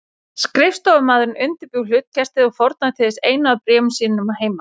Skrifstofumaðurinn undirbjó hlutkestið og fórnaði til þess einu af bréfum sínum að heiman.